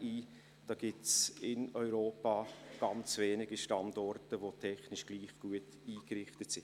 In Europa gibt es nur ganz wenige Standorte, welche technisch gleich gut eingerichtet sind.